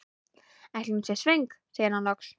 Ætli hún sé svöng? segir hann loks.